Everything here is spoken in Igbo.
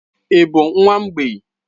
Ị bụ nwa mgbei?